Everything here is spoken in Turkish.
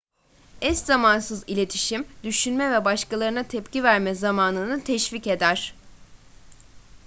eşzamansız iletişim düşünme ve başkalarına tepki verme zamanını teşvik eder